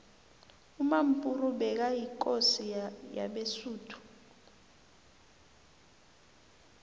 umampuru bekayikosi yabesuthu